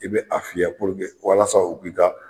I bɛ a fiyɛ walasa u k'i ka